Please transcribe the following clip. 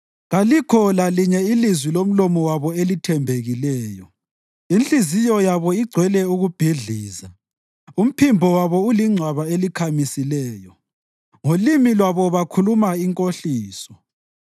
Kalikho lalinye ilizwi lomlomo wabo elithembekileyo; inhliziyo yabo igcwele ukubhidliza. Umphimbo wabo ulingcwaba elikhamisileyo; ngolimi lwabo bakhuluma inkohliso.